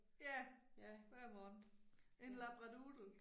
Ja. Hver morgen. En labradoodle